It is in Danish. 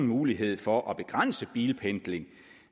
mulighed for at begrænse bilpendling